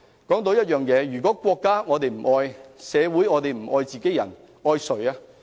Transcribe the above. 再說，如果我們不愛國家、不愛社會、不愛自己人，我們還愛誰？